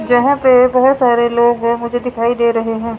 जहां पे बहुत सारे लोगो मुझे दिखाई दे रहे हैं।